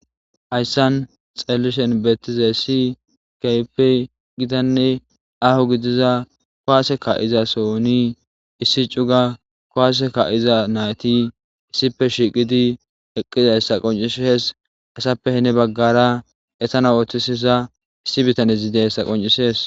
Haysa xeelishin betizays keehippe gitanne aho gidiza kuwase ka'iza sohoni issi cuga kuwase ka'iza nayti issippe shiiqi eidaysanne hessappe heni bagara eta oothisiza issi bitaney dizaysa qoncisees.